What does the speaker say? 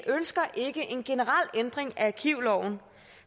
ikke ønsker en generel ændring af arkivloven